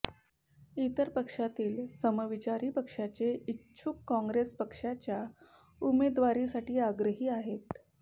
इतर पक्षातील समविचारी पक्षाचे इच्छूक काँग्रेस पक्षाच्या उमेदवारीसाठी आग्रही आहेत